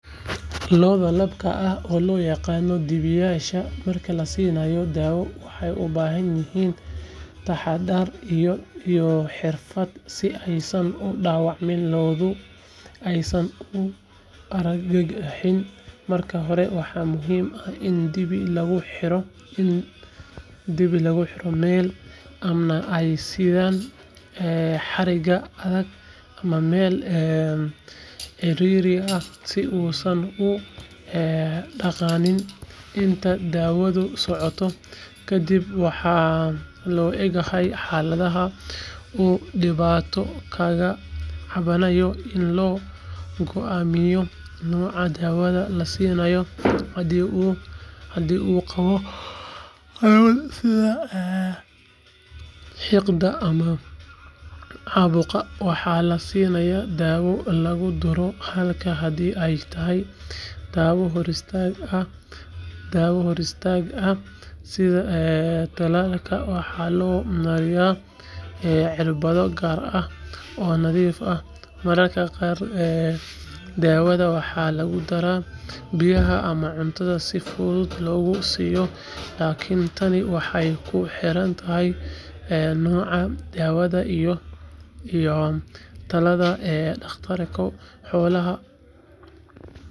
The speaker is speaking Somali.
Lo’da labka ah oo loo yaqaan dibiyaasha marka la siinayo daawo waxay u baahan yihiin taxaddar iyo xirfad si aysan u dhaawacmin lo’duna aysan u argagixin marka hore waxaa muhiim ah in dibi lagu xidho meel ammaan ah sida xarig adag ama meel cidhiidhi ah si uusan u dhaqaaqin inta daawadu socoto kadib waxaa loo eegaa xaaladda uu dhibaato kaga cabanayo si loo go’aamiyo nooca daawada la siinayo haddii uu qabo xanuun sida xiiqda ama caabuq waxaa la siiyaa daawo lagu duro halka haddii ay tahay daawo hor istaag ah sida tallaalka waxaa loo mariyaa cirbado gaar ah oo nadiif ah mararka qaar daawada waxaa lagu daraa biyaha ama cuntada si fudud loogu siiyo laakiin tani waxay ku xiran tahay nooca daawada iyo talada dhakhtarka xoolaha.